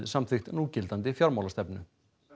samþykkt núgildandi fjármálastefnu